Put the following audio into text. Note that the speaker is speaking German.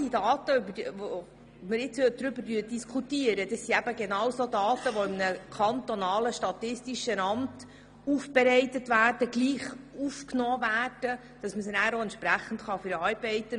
Die Daten, über die wir diskutieren, sind eben genau solche Daten, die von einem kantonalen statistischen Amt erhoben und aufbereitet werden.